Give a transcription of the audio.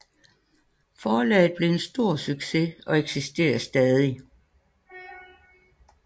Forlaget blev en stor succes og eksisterer stadig